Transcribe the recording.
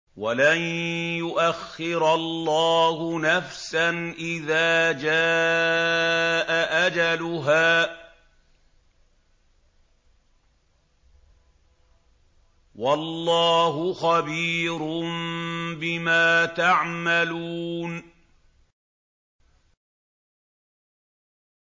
وَلَن يُؤَخِّرَ اللَّهُ نَفْسًا إِذَا جَاءَ أَجَلُهَا ۚ وَاللَّهُ خَبِيرٌ بِمَا تَعْمَلُونَ